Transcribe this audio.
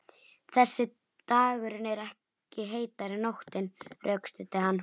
Þegar dagurinn er ekki heitari en nóttin, rökstuddi hann